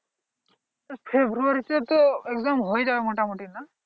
ফেব্রুয়ারি তো exam হয়ে যাবে মোটামুটি না